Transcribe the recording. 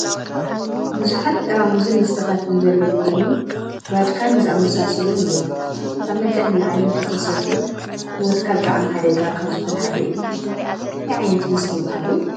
ብዙሓት ጠራሙዝን መስተታት ዘለው ኮይኖም ቫድካን ዝኣመሳሳሉን እዮም። ካብ መጠን ንላዕሊ እንተተሰትዮም ንሂወትካ ብጣዕሚ ሓደጋ ካብ ዝኮነ ሓደ እዩ። እንታይ ዓይነት መስተ ይብሃሉ?